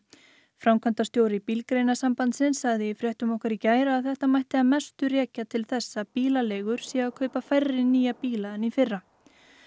framkvæmdastjóri Bílgreinasambandsins sagði í fréttum okkar í gær að þetta mætti að mestu rekja til þess að bílaleigur séu að kaupa færri nýja bíla en í fyrra